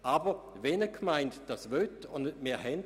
Aber wir haben Gemeinden, die dies möchten.